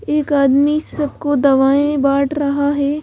एक आदमी सबको दवाएं बांट रहा है।